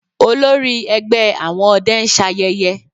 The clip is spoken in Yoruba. Olórí ẹgbẹ́ àwọn ọdẹ ń ṣayẹyẹ